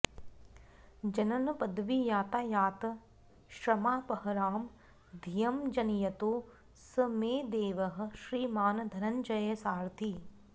जननपदवीयातायातश्रमापहरां धियं जनयतु स मे देवः श्रीमान् धनञ्जयसारथिः